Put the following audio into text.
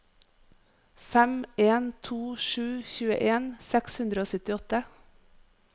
fem en to sju tjueen seks hundre og syttiåtte